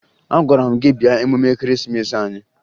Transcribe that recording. Agwara m gị bịa emume Ekeresimeesi anyị!